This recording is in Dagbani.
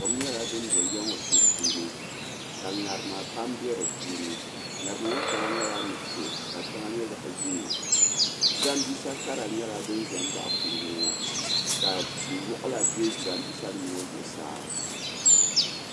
Kom nyɛla din do yiya ŋɔ sunsuuni ka ŋarima pam be dipuuni ŋarima ŋɔ sheŋa nyɛla nuɣuso sheŋa nyɛ zaɣa ʒee jirambisa kara nyɛla din ʒɛ m baɣi kuliga ŋɔ ka ti'waɣala be jirambisa nima ŋɔ zuɣusaa.